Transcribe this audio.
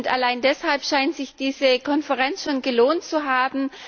Allein deshalb scheint sich diese Konferenz schon gelohnt zu haben.